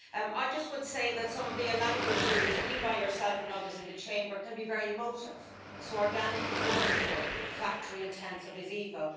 I would just say that some of the language used, indeed by yourself and others in the Chamber, can be very emotive organic is wonderful, factory intensive is evil.